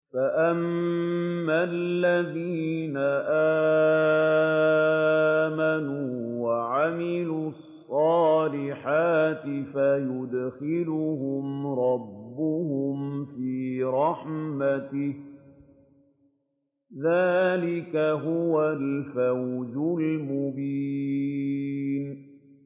فَأَمَّا الَّذِينَ آمَنُوا وَعَمِلُوا الصَّالِحَاتِ فَيُدْخِلُهُمْ رَبُّهُمْ فِي رَحْمَتِهِ ۚ ذَٰلِكَ هُوَ الْفَوْزُ الْمُبِينُ